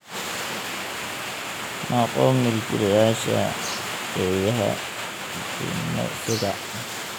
Noqo Milkiilayaasha Eeyaha Jimicsiga.